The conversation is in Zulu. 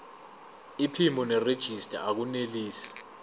iphimbo nerejista akunelisi